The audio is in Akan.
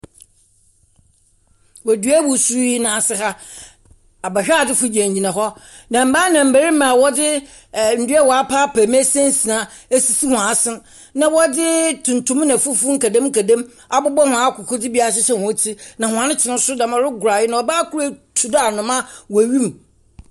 Wɔ dua wusuu yi n'ase ha, abɛhwɛadzefoɔ gyinagyina hɔ, na mbaa ne mbarima a wɔdze ndua wɔapaepae mu asinasina si wɔn asen na wɔdze tuntum ne fufuw nkedemnkedem abobɔ hɔn akoko dze bi ahyehyɛ hɔn tsir, na hɔn kyɛ no nso dɛm a. Wɔregoro. Na ɔbaa kor etu dɛ anoma wɔ wim.